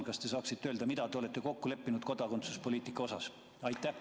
Kas te saaksite öelda, mida te olete kokku leppinud kodakondsuspoliitika kohta?